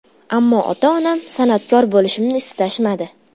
Ammo ota-onam san’atkor bo‘lishimni istashmadi.